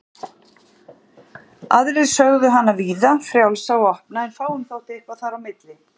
Aðrir sögðu hana víða, frjálsa og opna en fáum þótti eitthvað þar á milli.